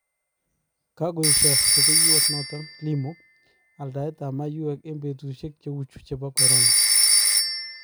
Kakoesho rupeiywot notok Limo alndaet ap maiywek eng betusuiek cheu chu chep corona.